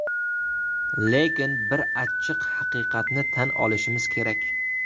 Lekin bir achchiq haqiqatni tan olishimiz kerak.